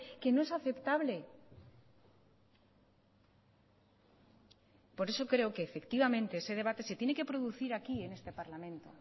que no es aceptable por eso creo que efectivamente ese debate se tiene que producir aquí en este parlamento